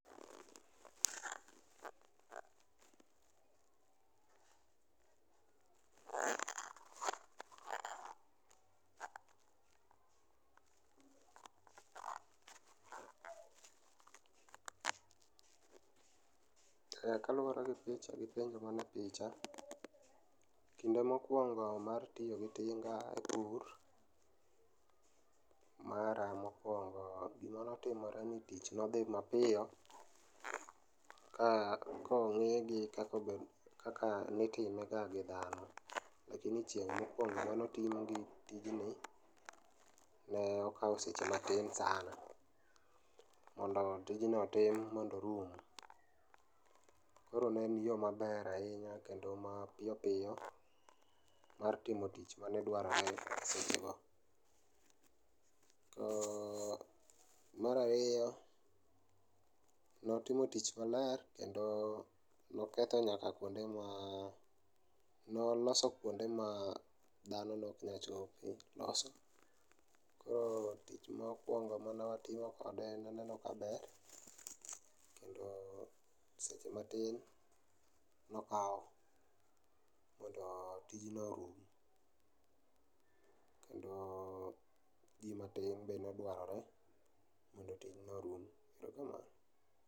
Kaluore gi picha gi penjo manie picha[sc],kinde mokuongo mar tiyo gi tiga e. pur, mara mokuongo ,gima notimore ni tich nodhi mapiyo ka, kong'i gi kaka nitime ga gi dhano. Lakini chieng' mokuogo mane aimo tingni ne okao seche matin sana mondo tijno otim mondo orum. Koro ne en yoo maber ahinya kendo ma piyo piyo mar timo tich mane dwarore seche go. To, mar ariyo, notimo tich maler kendo noketho nyaka kuonde ma, noloso kuonde ma dhano ne ok nyal chope, loso. Koro tich mokuongo mane watimo kode en mano majaber kendo seche matin nokao mondo tijno orum kendo jii matin be nodware mondo tijno orum. Erokamano